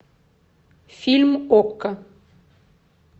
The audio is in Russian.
фильм окко